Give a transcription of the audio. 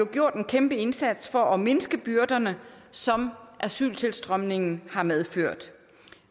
gjort en kæmpe indsats for at mindske byrderne som asyltilstrømningen har medført